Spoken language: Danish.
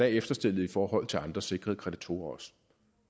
efterstillet i forhold til andre sikrede kreditorer